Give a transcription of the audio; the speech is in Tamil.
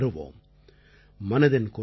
கண்டிப்பாக வெற்றி பெறுவோம்